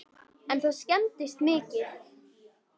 En það skemmdist mikið